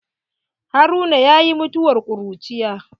Haruna yayi mutuwar ƙuruciya.